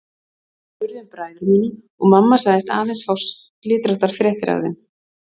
Ég spurði um bræður mína og mamma sagðist aðeins fá slitróttar fréttir af þeim.